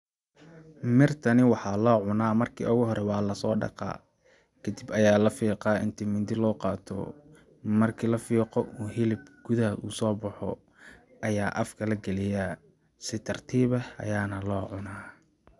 Mirtani waxaa loo cunaa marki oogu hore waa lasoo dhaqaa kadib ayaa la fiqaa inti mindi loo qaato marki la fiiqo oo hilibka gudaha uu soo baxo ayaa afka la galiyaa si tartiib eh ayaana loo cunaa.